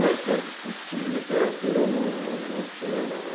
Mas para discutir literatura, não não não tinha, não.